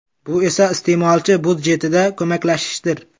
Bu esa iste’molchi budjetida ko‘maklashishdir.